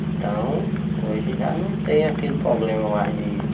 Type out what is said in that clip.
Então, hoje já não tem aquele problema mais de